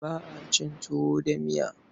Ba a cin tuwo ba miya.